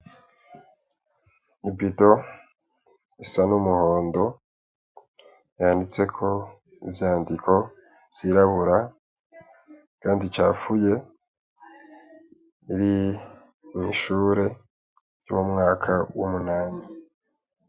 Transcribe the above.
Ibido ,isa, n'umuhondo yanditseko, ivyandiko vy'iraburu ,iragingi, icafuye iri mwishure ry'umwaka w' umunani.